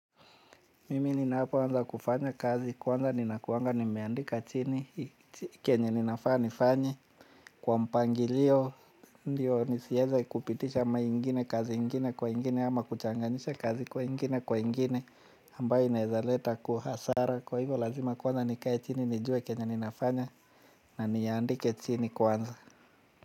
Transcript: Mimi ninapo anza kufanya kazi kwanza nina kuanga nimeandika chini kenye ninafaa nifanye. Kwa mpangilio ndio nisieze kupitisha maingine kazi ingine kwa ingine ama kuchanganisha kazi kwa ingine kwa ingine ambayo inaezaleta hasara. Kwa hivyo lazima kwanza nikae chini nijue kenye ninafanya na niandike chini kwanza.